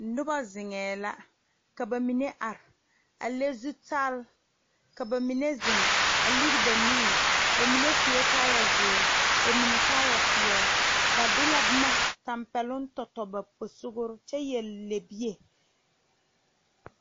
Nobɔ zeŋɛɛ la ka ba mine are a le zutall ka ba mine zeŋ a lire ba nuure ba mine suee kaayɛ zeere ba mine kaayɛ peɛle ba de la boma tampɛloŋ tɔ tɔ ba posugre kyɛ yɛre lɛbie.